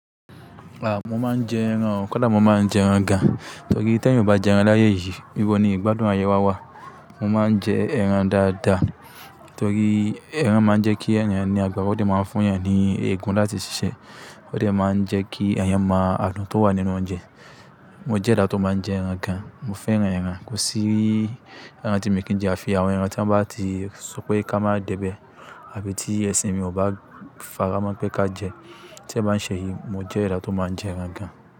Ah! Mo máa ń jẹ ẹran, kódà mo máa ń jẹ ẹran gan. Nítorí tí èèyàn ò bá jẹ ẹran láyé yìí, íbọ ni ìgbádùn ayé wá wà. Mo máa ń jẹ ẹran dáadáa, torí ẹran máa ń jẹ́ kí ènìyàn ní agbára, ó sì máa ń fún ènìyàn ní eegun láti ṣiṣẹ́, ó sì máa ń jẹ́ kí ènìyàn mọ àdùn tó wà nínú oúnjẹ. Mo jẹ́ ẹdá tí ó máa ń jẹ ẹran gan. Mo fẹ́ran ẹran, kò sí ẹran tí mo kì í jẹ, àfi àwọn ẹran tí wọ́n bá ti sọ pé ká máa dẹ́bẹ̀, àbí tí ẹṣin mi ò bá faká mọ̀ pé ká jẹ. Tí ẹ bá ń ṣe yìí, mo jẹ́ ẹni tí ó máa ń jẹ ẹran gan.